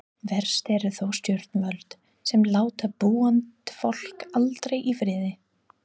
Verst eru þó stjórnvöld, sem láta búandfólk aldrei í friði.